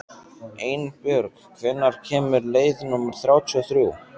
Einbjörg, hvenær kemur leið númer þrjátíu og þrjú?